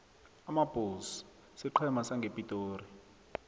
amabulls siqhema sangepitori